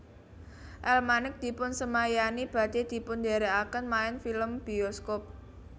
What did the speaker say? El Manik dipunsemayani badhe dipundherekaken main film bioskop